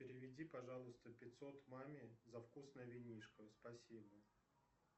переведи пожалуйста пятьсот маме за вкусное винишко спасибо